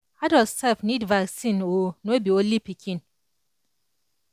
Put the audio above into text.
adult sef need vaccine o no be only pikin